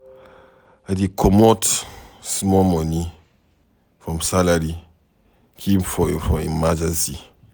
I dey comot small moni from salary keep for emergency.